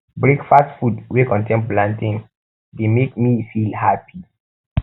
breakfast food wey contain plantain dey make me feel happy